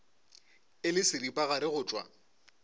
e le seripagare go tšwa